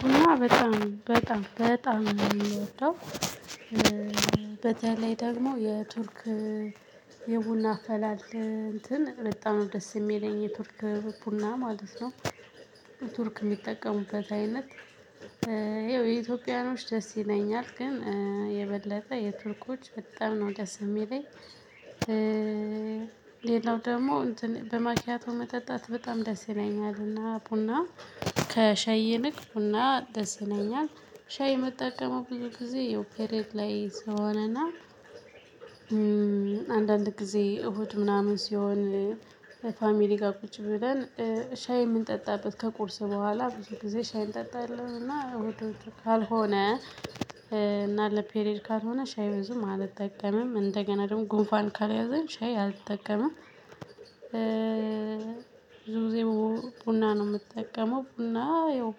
ቡና በጣም በጣም በጣም የምወደው በዚያ ላይ ደግሞ የቱርክ የቡና አፈላል እንትን በጣም ነው ደስ የሚለኝ የቱርክ ቡና ማለት ነው። ቱርክ የሚጠቀሙበት አይነት ይኸው የኢትዮጵያኖች ደስ ይለኛል ግን የበለጠ የቱርኮች በጣም ነው ደስ የሚለኝ። ሌላው ደግሞ እንትን በማኪያቶ መጠጣት በጣም ደስ ይለኛል። እና ቡና ከሻይ ይልቅ ቡና ደስ ይለኛል። ሻይ መጠቀሙ ብዙ ጊዜ ያው ፔሬድ ላይ ስሆንና። አንዳንድ ጊዜ እሁድ ምናምን ሲሆን ፋሚሊ ጋር ቁጭ ብለን ሻይ የምንጠጣበት ከቁርስ በኋላ ብዙ ጊዜ ሻይ እንጠጣለን። እና ካልሆነ እና ለፔሬድ ካርም ሆነ ሻይ ብዙም አልጠቀምም እንደገና ደግሞ ጉንፋን ካልያዘኝ ሻይ አልጠቀምም። ብዙ ጊዜ ቡና ነው የምጠቀመው። ቡና ያው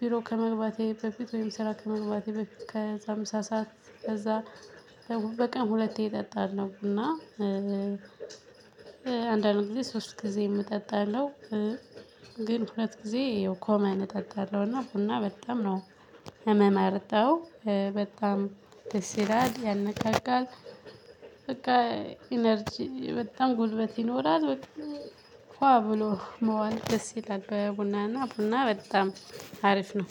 ቢሮ ከመግባቴ በፊት ወይም ስራ ከመግባቴ በፊት ከዛ ምሳ ሰዓት ከዛ በቀን ሁለቴ እጠጣለሁ። እና አንዳንድ ጊዜ ሶስት ጊዜም እጠጣለው። ግን ሁለት ጊዜ ኮመን እጠጣለሁ። እና ቡና በጣም ነው ምመርጠው በጣም ትስ ይላል ያነካካል። በቃ ኢነርጂ በጣም ጉልበት ይኖራል እኮ አብሎ መዋል ደስ ይላል። በቡናና ቡና በጣም አሪፍ ነው